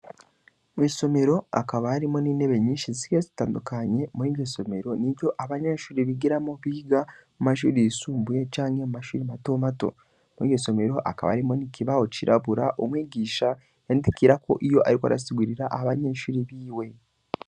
Mwisomero hakaba harimwo n'intebe nyinshi zigiye zitandukanye, muriryo somero niryo abanyeshure bigiramwo biga mumashure yisumbuye canke mu mashure mato mato, muriryo somero hakaba harimwo n'ikibaho cirabura umwigisha yandikirako iyo ariko arasigurira abanyeshure biwe.